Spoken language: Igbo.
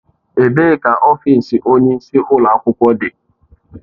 Ebee ka ọfịs onye isi ụlọ akwụkwọ dị?